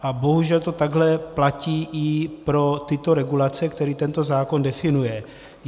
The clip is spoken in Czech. A bohužel to takhle platí i pro tyto regulace, které tento zákon definuje.